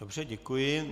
Dobře, děkuji.